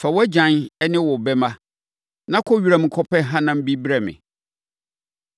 Fa wʼagyan ne wo bɛmma, na kɔ wiram kɔpɛ hanam bi brɛ me.